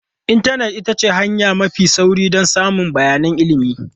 Intanet ita ce hanya mafi sauri don samun bayanan ilimi.